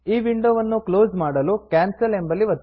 ಈ ವಿಂಡೋವನ್ನು ಕ್ಲೋಸ್ ಮಾಡಲು ಕ್ಯಾನ್ಸಲ್ ಕ್ಯಾನ್ಸಲ್ ಎಂಬಲ್ಲಿ ಒತ್ತಿ